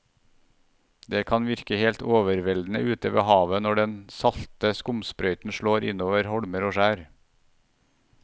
Det kan virke helt overveldende ute ved havet når den salte skumsprøyten slår innover holmer og skjær.